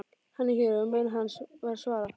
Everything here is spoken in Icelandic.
Hann er hér og menn hans, var svarað.